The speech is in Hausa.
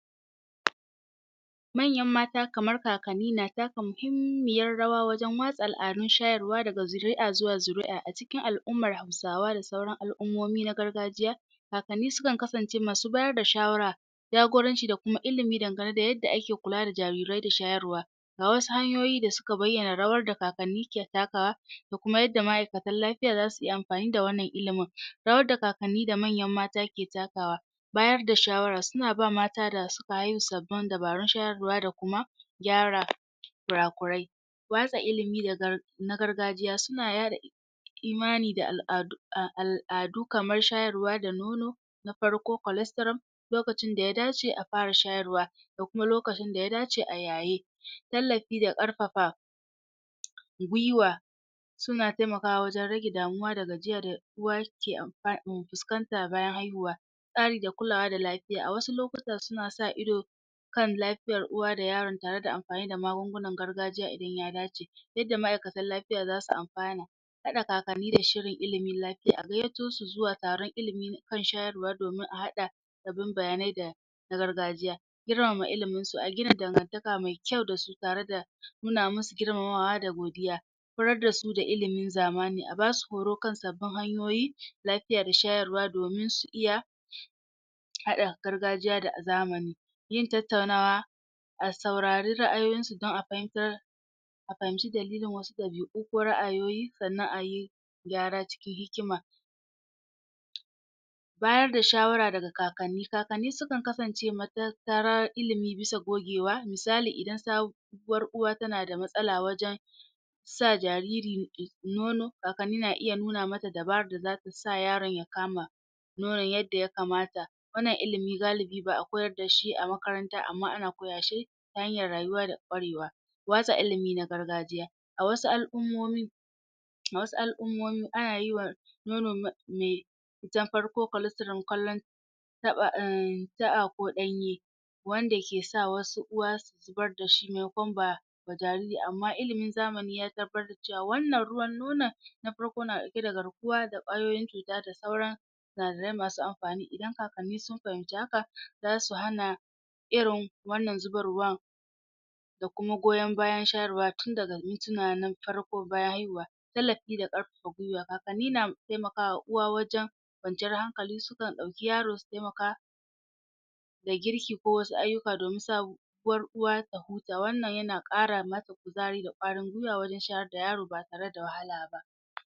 Manyan mata kamar kakanni na taka muhimmiyar rawa wajen watsa al'adun shayarwa daga zuri'a zuwa zuri'a a cikin al'ummar Hausawa da sauran al'ummomi na gargajiya Kakanni sukan kasance masu bayar da shawara, jagoranci da kuma ilimi dangane da yadda ake kula da jarirai da shayarwa Ga wasu hanyoyi da suka bayyana rawar da kakanni ke takawa da kuma yadda ma'aikatan lafiya za su yi amfani da wannan ilimin. Rawar da kakanni da manyana mata ke takawa: Bayar da shawara--suna ba mata da suka haihu dabarun shayarwa da kuma gyara kura-kurai. Watsa ilimi na gargajiya imani da al'adu, kamar shayarwa da nono, na farko colestoral, lokacin da ya dace a fara shayarwa da kuma lokacin da ya dace a yu yaye. Tallafi da ƙarfafa gwiwa sun taimakawa wajen rage damuwa da gajiya da uwa ke fuskanta bayan haihuwa. tsari da kulawa da lafiya. A wasu lokuta, suna sa ido kan lafiyar uwa da yaron tare da amfani da magungunan gargajiya idan ya dace duk da ma'aikatan lafiya za su amfana. Haɗa kakanni da shirin ilimin lafiya. A gayyato su zuwa taron ilimi kan shayarwa domin a haɗa bin bayanai da na gargajiya. Girmama iliminsu: a gina dangantaka mai kyau da su tare da nuna musu girmamawa da godiya horar da su da ilimin zamani; a ba su horo kan sabbin hanyoyi, lafiya da shayarwa domin su iya haɗa gargajiya da zamani. Yin tattaunawa--a saurari ra'ayoyinsu don a fahimtar a fahimci dalilin wasu ɗabi'u ko ra'ayoyi sannan a yi gyara cikin hikima. Bayar da shawara daga kakanni: Kakanni sukan kasance matattarar ilimi bisa gogewa, misali idan sabuwar uwa tana da matsala wajen sa jariri nono, kakanni na iya nuna mata dabarar da za ta sa yaron ya kama nonon yadda ya kamata. Wannan ilimi galibi ba a koyar da shi a makaranta amma ana koya shi ta hanyar rayuwa da ƙwarewa. Watsa ilimi na gargajiya: A wasu al'ummomi, a wasu al'ummomi ana yi wa ma mai ta farko colestorel kallon um ko ɗanye wanda ke sa wasu uwa su zubar da shi maimakon ba jariri amma ilimin zamani ya tabbatar da cewa wannan ruwan nonon na farko yana ɗauke da garkuwa da ƙwayoyin cuta da sauran masu amfani. Idan kakanni sun fahimci haka za su hana irin wannan zubarwan da kuma goyo bayan shayarwa tun daga mintuna na farko bayan haihuwa. Tallafi da ƙarfafa gwiwa--kakanni na taimaka wa uwa wajen kwanciyar hankali; sukan ɗauki yaro su taimaka da girki ko wasu ayyuka domin sa uwar uwa ta huta. Wannan yana ƙara mata kuzari da ƙwarin gwiwa wajen shayar da yaro ba tare da wahala ba.